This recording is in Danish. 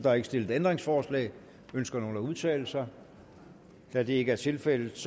er ikke stillet ændringsforslag ønsker nogen at udtale sig da det ikke er tilfældet